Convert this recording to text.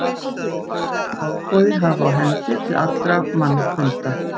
Hann skyldi hofgoði hafa á hendi til allra mannfunda.